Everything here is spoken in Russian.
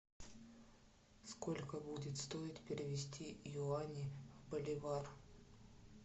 сколько будет стоить перевести юани в боливар